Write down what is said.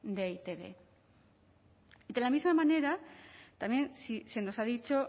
de e i te be de la misma manera también se nos ha dicho